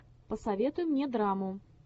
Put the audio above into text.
посоветуй мне драму